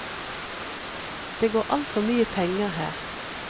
Det går altfor mye penger her.